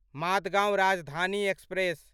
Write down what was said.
Madgaon Rajdhani express